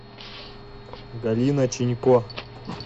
галина чинько